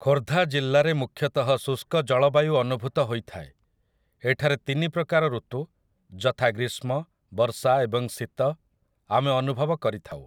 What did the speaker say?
ଖୋର୍ଦ୍ଧା ଜିଲ୍ଲାରେ ମୁଖ୍ୟତଃ ଶୁଷ୍କ ଜଳବାୟୁ ଅନୁଭୂତ ହୋଇଥାଏ । ଏଠାରେ ତିନି ପ୍ରକାର ଋତୁ ଯଥା, ଗ୍ରୀଷ୍ମ ବର୍ଷା ଏବଂ ଶୀତ, ଆମେ ଅନୁଭବ କରିଥାଉ ।